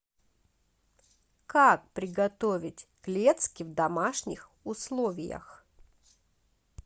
как приготовить клецки в домашних условиях